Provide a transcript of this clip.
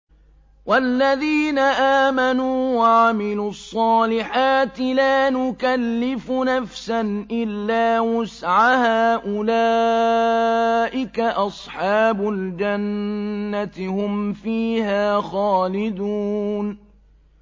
وَالَّذِينَ آمَنُوا وَعَمِلُوا الصَّالِحَاتِ لَا نُكَلِّفُ نَفْسًا إِلَّا وُسْعَهَا أُولَٰئِكَ أَصْحَابُ الْجَنَّةِ ۖ هُمْ فِيهَا خَالِدُونَ